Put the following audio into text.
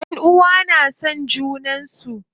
Ƴanʼuwa na son junan su.